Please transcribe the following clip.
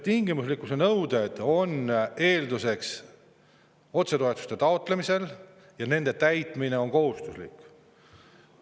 Tingimuslikkuse nõuete on eelduseks otsetoetuste taotlemisel, nende täitmine on kohustuslik.